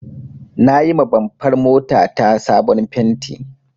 Na yima bamfar mota ta sabon fenti